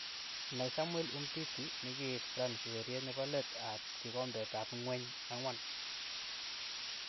Nai Samuel Umtiti nikiit France ureriet nebo let ab kikombet ab ngweny 4.